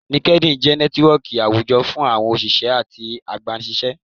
LinkedIn jẹ nẹtiwọọki awújọ fún àwọn oṣiṣẹ atí agbánisiṣẹ.